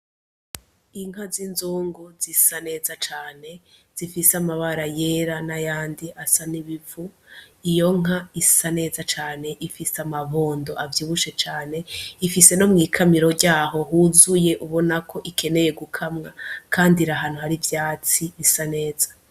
Inka z'inzungu zisa neza cane zifise amabara yera n'ayandi asa n'ibivu, iyo nka isa neza cane, ifise amabondo avyibushe cane, ifise no mw'ikamiro ryaho huzuye ubona ko ikeneye gukamwa, kandi iri ahantu hari ivyatsi bisa neza.